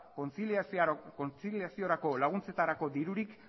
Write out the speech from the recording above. kontziliaziorako laguntzetarako dirurik